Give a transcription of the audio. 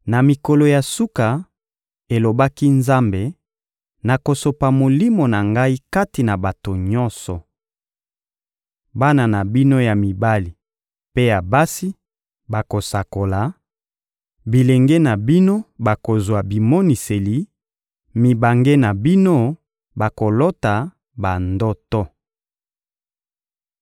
«Na mikolo ya suka, elobaki Nzambe, nakosopa Molimo na Ngai kati na bato nyonso. Bana na bino ya mibali mpe ya basi bakosakola; bilenge na bino bakozwa bimoniseli, mibange na bino bakolota bandoto.